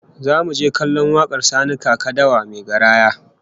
Zamu je kallon wakar Sani Kaka Dawa mai garaya